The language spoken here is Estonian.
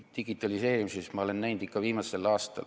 Digitaliseerimise puhul ma olen näinud viimasel aastal ...